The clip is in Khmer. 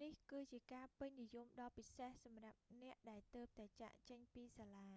នេះគឺជាការពេញនិយមដ៏ពិសេសសម្រាប់អ្នកដែលទើបតែចាកចេញពីសាលា